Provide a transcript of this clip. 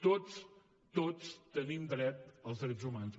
tots tots tenim dret als drets humans